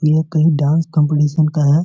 ये कहीं dance competition का है।